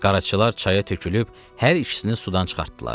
Qaraçılar çaya tökülüb hər ikisini sudan çıxartdılar.